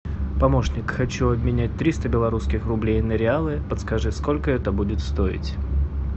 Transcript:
помощник хочу обменять триста белорусских рублей на реалы подскажи сколько это будет стоить